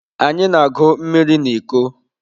Anyị na-agụ mmiri na iko.